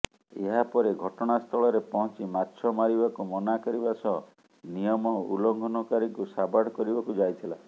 ଏହାପରେ ଘଟଣାସ୍ଥଳରେ ପହଂଚି ମାଛ ମାରିବାକୁ ମନା କରିବା ସହ ନିୟମ ଉଲ୍ଲଂଙ୍ଘନକାରୀଙ୍କୁ ସାବାଡ କରିବାକୁ ଯାଇଥିଲା